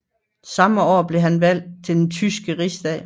Samme år blev han valgt til den tyske rigsdag